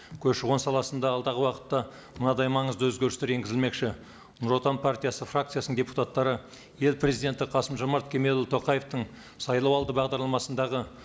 көші қон саласындағы алдағы уақытта мынадай маңызды өзгерістер енгізілмекші нұр отан партиясы фракциясының депутаттары ел президенті қасым жомарт кемелұлы тоқаевтың сайлау алды бағдарламасындағы